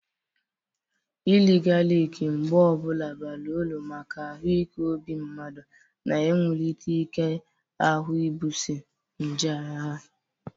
Iri galik mgbe ọbụla bara uru maka ahụ ike obi mmadụ na iwulite ike ahụ ibuoso nje agha.